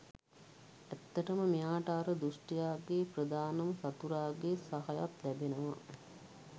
ඇත්තටම මෙයාට අර දුෂ්ටයාගේ ප්‍රධානම සතුරගේ සහයත් ලැබෙනවා.